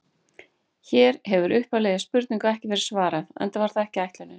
Hér hefur upphaflegri spurningu ekki verið svarað, enda var það ekki ætlunin.